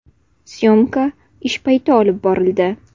Syomka ish payti olib borildi.